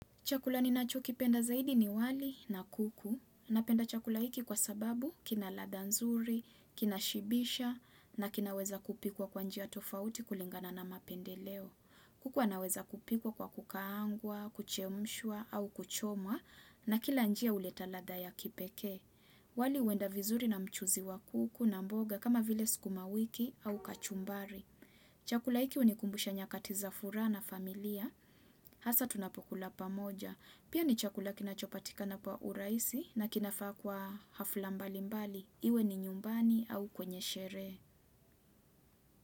Chakula ni nacho kipenda zaidi ni wali na kuku. Na penda chakula iki kwa sababu kina ladha nzuri, kina shibisha na kina weza kupikwa kwa njia tofauti kulingana na mapendeleo. Kuku awanaweza kupikwa kwa kukaangwa, kuchemshwa au kuchomwa na kila njia uleta ladha ya kipekee. Wali uenda vizuri na mchuzi wa kuku na mboga kama vile sikuma wiki au kachumbari. Chakula iki unikumbusha nyakatiza fura na familia, hasa tunapokula pamoja. Pia ni chakula kinachopatika na kwa uraisi na kinafaa kwa hafulambali mbali. Iwe ni nyumbani au kwenye sheree.